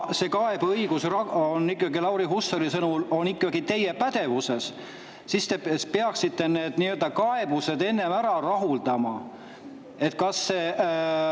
Nii et ma arvan, et kuna kaebused on Lauri Hussari sõnul ikkagi teie pädevuses, siis te peaksite need kaebused enne ära rahuldama, kui me edasi läheme.